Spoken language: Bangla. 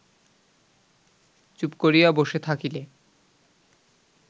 চুপ করিয়া বসে থাকিলে